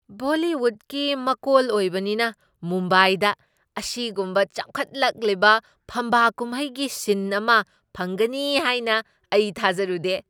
ꯕꯣꯂꯤꯋꯨꯗꯀꯤ ꯃꯀꯣꯜ ꯑꯣꯏꯕꯅꯤꯅ ꯃꯨꯝꯕꯥꯏꯗ ꯑꯁꯤꯒꯨꯝꯕ ꯆꯥꯎꯈꯠꯂꯛꯂꯤꯕ ꯐꯝꯕꯥꯛ ꯀꯨꯝꯍꯩꯒꯤ ꯁꯤꯟ ꯑꯃ ꯐꯪꯒꯅꯤ ꯍꯥꯏꯅ ꯑꯩ ꯊꯥꯖꯔꯨꯗꯦ꯫